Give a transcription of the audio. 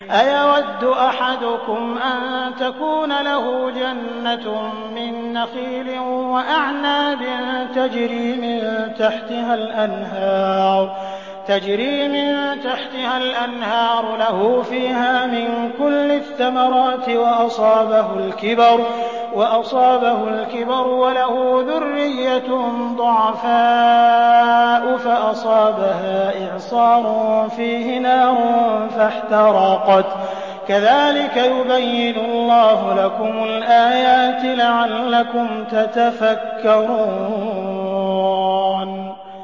أَيَوَدُّ أَحَدُكُمْ أَن تَكُونَ لَهُ جَنَّةٌ مِّن نَّخِيلٍ وَأَعْنَابٍ تَجْرِي مِن تَحْتِهَا الْأَنْهَارُ لَهُ فِيهَا مِن كُلِّ الثَّمَرَاتِ وَأَصَابَهُ الْكِبَرُ وَلَهُ ذُرِّيَّةٌ ضُعَفَاءُ فَأَصَابَهَا إِعْصَارٌ فِيهِ نَارٌ فَاحْتَرَقَتْ ۗ كَذَٰلِكَ يُبَيِّنُ اللَّهُ لَكُمُ الْآيَاتِ لَعَلَّكُمْ تَتَفَكَّرُونَ